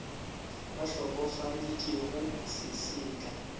ba hlokofaditšwego se se ka